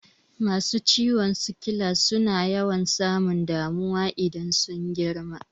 Masu ciwon sikila suna yawan samun damuwa idan sun girma